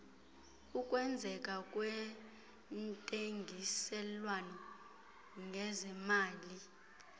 ukwenzeka kwentengiselwano ngezemali